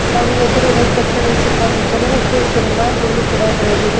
ಹಾಗು ಎದ್ರುಗಡೆ ಕಟ್ಟಡದ ಸುತ್ತಮುತ್ತಲು ಹಚ್ಚಹಸುರಿನ ಹುಲ್ಲು ಕೂಡ ಬೆಳೆದಿದೆ.